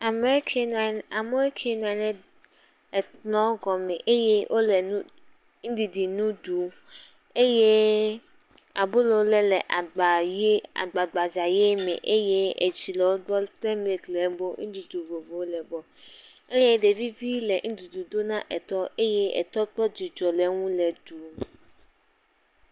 Ameke nɔ anyi amewo ke nɔ anyi nɔ egɔme eye wole ŋdidi nuɖuɖu ɖu eye abolo le le agbagbdza ʋi me eye etsi le ebe eye ɖevivi le nuɖuɖu dom na etɔ eye etɔ kpɔ dzidzɔ ke eŋu le ɖuu.